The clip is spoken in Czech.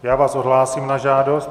Já vás odhlásím na žádost.